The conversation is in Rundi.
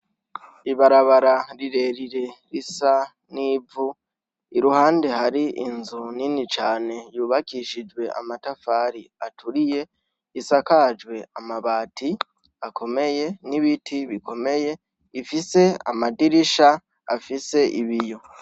ibarabara rirerire risa nk’ivu, iruhande hari inzu nini cane yubakishijwe amatafari aturiye, isakajwe amabati akomeye n’ibiti bikomeye bifise amadirisha afise ibiyo.